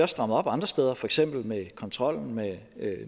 strammet op andre steder for eksempel med kontrollen med